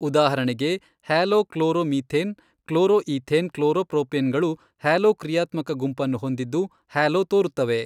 ಉದಾಹರಣೆಗೆ halo chloro methane chloro ethane chloro propane ಗಳು halo ಕ್ರಿಯಾತ್ಮಕ ಗುಂಪನ್ನು ಹೊಂದಿದ್ದು ಹ್ಯಾಲೋ ತೋರುತ್ತವೆ.